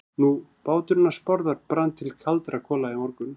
Nú, báturinn hans Bárðar brann bara til kaldra kola í morgun.